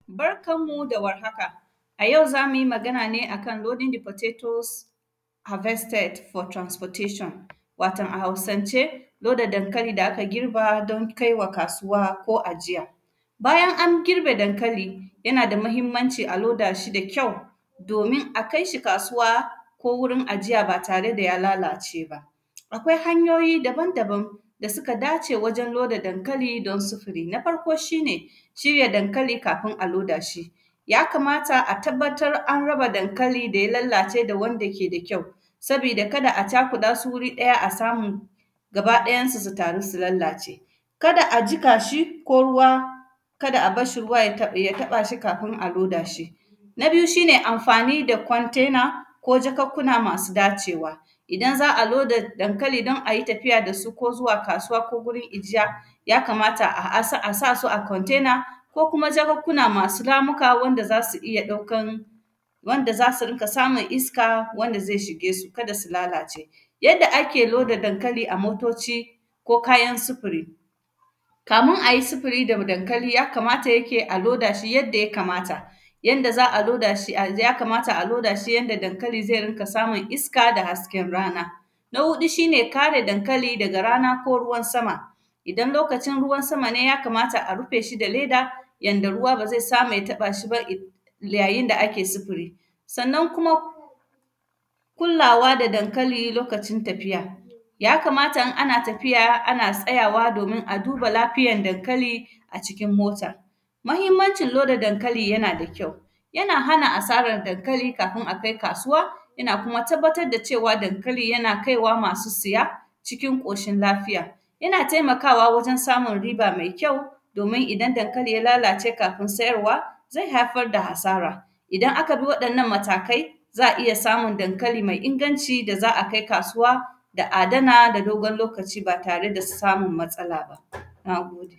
Barkan mu da warhaka, a yau za mu yi magana ne a kan “loading the potatos harvested for transportation”, waton a Hausance, loda dankali da aka girba don kaiwa kasuwa ko ajiya. Bayan an girbe dankali, yana da mahimmanici a loda shi da kyau, domin a kais hi kasuwa ko wurin ajiya ba tare da ya lalace ba. Akwai hanyoyi daban-daban da sika dace wajen loda dankali don sufuri, na farko shi ne shirya dankali kafin a loda shi. Ya kamata a tabbatar an raba dankali da ya lallace da wanda ke da kyau, sabida kada a cakuɗa su wuri ɗaya a samu samu gabaɗayansu su taru si lallace. Kada a jika shi, ko ruwa, kada a bas shi ruwa ya taƃ; ya taƃa shi kafin a loda shi. Na biyu, shi ne amfani da kwantena ko jakakkuna masu dacewa. Idan za a loda dankali don a yi tafiya da shi ko zuwa kasuwa ko gurin ijiya, ya kamata a; a sa; a sa su a kwantena ko kuma jakakkuna masu ramika wanda za si iya ɗaukan, wanda za si rika samun iska, wanda ze shige su, kada si lalace. Yadda ake loda dankali a motoci ko kayan sifuri, kamin a yi sifiri dam dankali, ya kamata yake a loda shi yadda ya kamata. Yanda za a loda shi ai; ya kamata a loda shi yanda dankali ze rinƙa samin iska da hasken rana. Na huɗu, shi ne kare dankali daga rana ko ruwan sama. Idan lokacin ruwan sama ne, ya kamata a rufe shi da leda yanda ruwa ba ze samu ya taƃa shi ba if; yayin da ake sifir. Sannan kuma, kullawa da dankali lokacin tafiya, ya kamata in ana tafiya, ana tsayawa domin a duba lafiayan dankali a cikin mota. Mahimmancin loda dankali, yana da kyau, yana hana asaran dankali kafin a kai kasuwa, yana kuma tabbatad da cewa dankali yana kai wa masu siya cikin ƙoshin lafiya. Yana temakawa wurin samun riba me kyau, domin idan dankali ya lalace kafin sayarwa, zai haifar da hasara. Idan aka bi waɗannan matakai, za a iya samun dankali mai inganci da za a kai kasuwa, da adana da dogon lokaci ba tare da samum matsala ba, na gode.